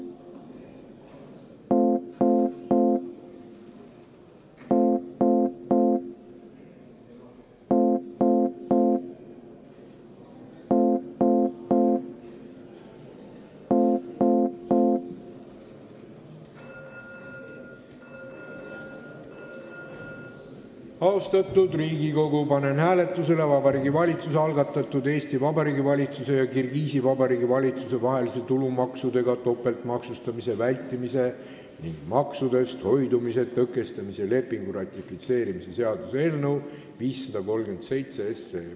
Austatud Riigikogu, panen hääletusele Vabariigi Valitsuse algatatud Eesti Vabariigi valitsuse ja Kirgiisi Vabariigi valitsuse vahelise tulumaksudega topeltmaksustamise vältimise ning maksudest hoidumise tõkestamise lepingu ratifitseerimise seaduse eelnõu 537.